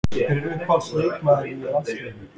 Hver er uppáhalds leikmaður í landsliðinu?